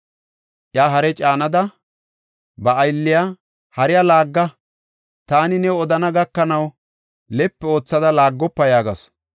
Iya hare caanada, ba aylliya, “Hariya laagga! Taani new odana gakanaw, lepi oothada laaggofa” yaagasu.